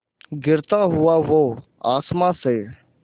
गिरता हुआ वो आसमां से